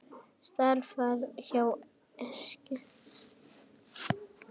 Starfar hjá Eskju.